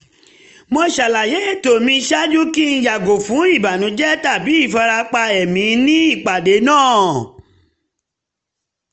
mo ṣàlàyé ètò mi ṣáájú kí n yàgò fún ìbànújẹ tabi ìfarapa ẹ̀mí ní ipàdé náà